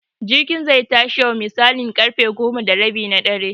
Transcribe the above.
Jirgi zai tashi yau da misalin ƙarfe goma da rabi na dare